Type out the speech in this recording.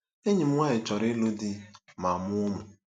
Enyi m nwaanyị chọrọ ịlụ di ma mụọ ụmụ.